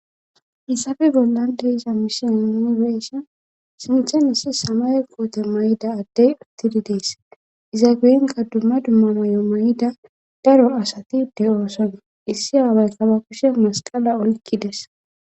hissafe bollande isa misin inibeesion sinthen issi samay koote may7ida addey uttidi dees iza geyenka dumma dumma may7o may7ida daro asatide oosona issi aawaykaba kushe masqala olkkides